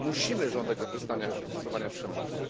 Musimy żądać zaprzestania stosowania przemocy.